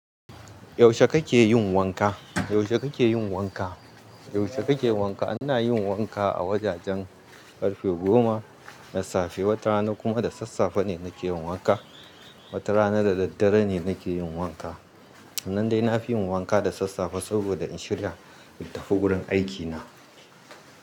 Yaushe kake yin wanka? Yaushe kake yin wanka? Yaushe kake wanka? Ina yin wanka a wajajen karfe goma na safe. Wata rana kuma da sassafe ne nake yin wanka, wata rana da daddare ne nake yin wanka. Nan dai na fi yin wanka da sassafe saboda in shirya in tafi gurin aikina.